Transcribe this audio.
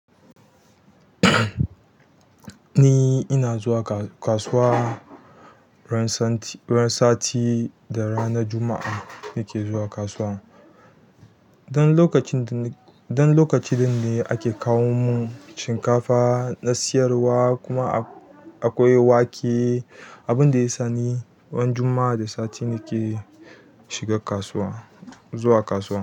Ni ina zuwa kasuwa ran sati da ranar Juma'a nake zuwa kasuwa. Dan lokacin ɗin ne ake kawo mun shinkafa na siyarwa kuma akwai wake. Abin da ya sa ni ran Juma'a da sati nake shiga kasuwa, zuwa kasuwa.